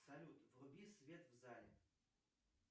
салют вруби свет в зале